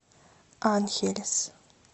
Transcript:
анхелес